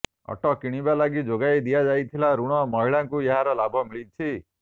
auto କିଣିବା ଲାଗି ଯୋଗାଇ ଦିଆଯାଇଥିଲା ଋଣ ମହିଳାଙ୍କୁ ଏହାର ଲାଭ ମିଳିଛି